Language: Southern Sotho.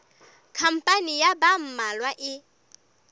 khampani ya ba mmalwa e